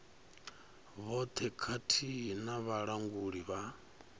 vhoṱhe khathihi na vhalanguli vha